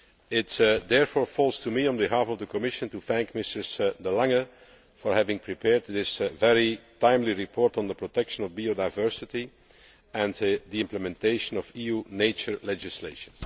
It therefore falls to me on behalf of the Commission to thank Mrs de Lange for having prepared this very timely report on the protection of biodiversity and the implementation of EU nature legislation.